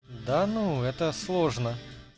да ну это сложно